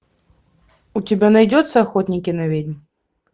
у тебя найдется охотники на ведьм